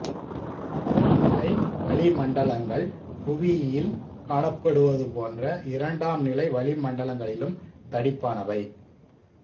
முதல்நிலை வளிமண்டலங்கள் புவியில் காணப்படுவது போன்ற இரண்டாம்நிலை வளிமண்டலங்களிலும் தடிப்பானவை